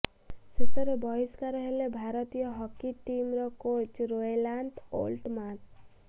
ଶେଷରେ ବହିଷ୍କାର ହେଲେ ଭାରତୀୟ ହକି ଟିମର କୋଚ୍ ରୋଏଲାଣ୍ଟ ଓଲ୍ଟମାନ୍ସ